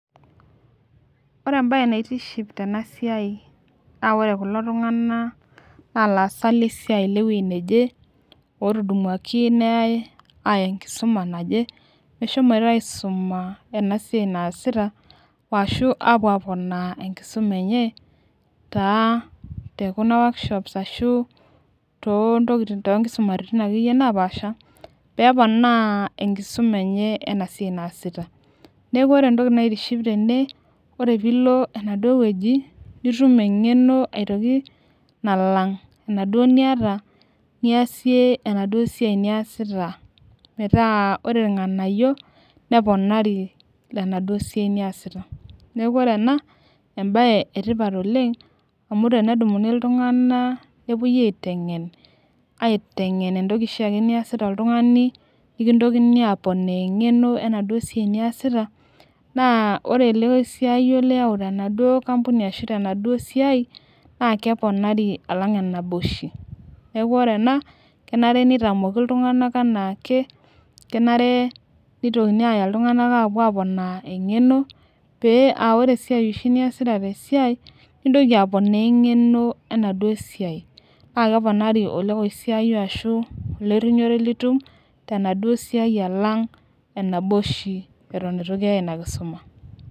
ore embae natiship tena siai na ore kulo tunganak na ilasaak lesiai naje, otudumuaki neyae aya enkisuma naje, meshomoita aisuma ena siai nasita ashu mape apoona enkisuma enye ta tekuna workshop ashu tontokitin ashu tonkisumaritin akeyie napasha, pepona enkisuma enye ena siai nasita naiku ore entoki naitiship tene, ore pilo enaduo weuji nitum engeno, etoki nalang enaduo nita niasie enaduo siai niasita, meeta ore ilnganayio neponari, lena duo sii niasita, niaku ore ena na ebae etipat oleng amu tenedumuni iltunganak, nepuoi aitengen aitengen entoki oshiiake niasita oltungani, nikintokini apoona engeno enaduo siai niasita na ore olokoisiayio liyau, tena duo kampuni ashu tenaduo siai na keponari alang enaba oshi niaku ore ena na kenare nitamoki iltunganak enaake, kenare nitokini aya iltunganak pepuo apoona engeno, pee aa ore oshi, niasita oshi tesiai nintoki apoona, engeno enaduo siai na keponari olokosaiyio ashu, olorinyore litum tenaduo siai alang enaba oshi eton etu kiyae ina kisuma.